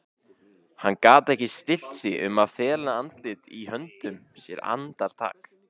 Hann gat ekki stillt sig um að fela andlitið í höndum sér andartak.